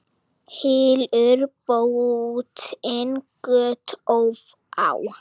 Hylur bótin göt ófá.